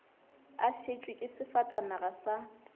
a šetšwe ke sefatanaga sa